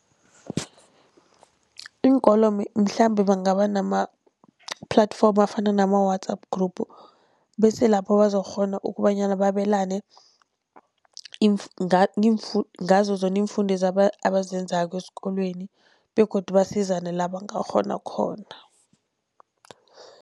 Iinkolo mhlambe bangaba nama-platform afana nama-WhatsApp group, bese lapho bazokukghona ukubanyana babelane ngazo zona iimfundo abazenzako esikolweni begodu basizane la bangakghona khona.